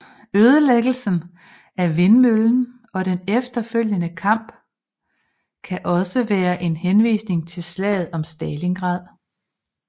Ødelæggelsen af vindmøllen og den efterfølgende kamp kan også være en henvisning til slaget om Stalingrad